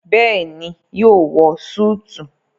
bẹẹni yóò wọ Súìtì.